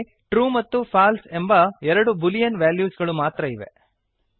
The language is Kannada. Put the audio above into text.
ಅಲ್ಲಿ ಟ್ರೂ ಮತ್ತು ಫಾಲ್ಸೆ ಎಂಬ ಎರಡು ಬೂಲಿಯನ್ ವೆಲ್ಯೂಸ್ ಗಳು ಮಾತ್ರ ಇವೆ